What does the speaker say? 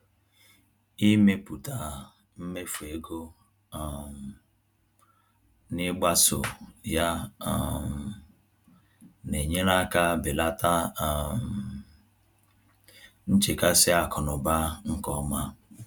Ịmepụta mmefu ego um na ịgbaso ya um na-enyere aka belata um nchekasị akụnaụba nke ọma